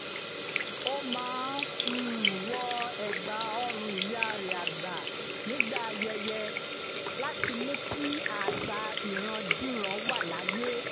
ó máa um ń wọ ẹ̀gbà-ọrùn ìyá rẹ̀ àgbà nígbà ayẹyẹ láti mú kí àṣà um ìrandíran wà láàyè